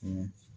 O